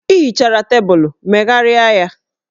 Ị hichara tebụlụ, megharịa ya!